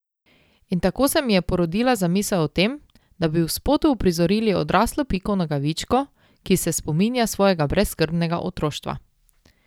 In tako se mi je porodila zamisel o tem, da bi v spotu uprizorili odraslo Piko Nogavičko, ki se spominja svojega brezskrbnega otroštva.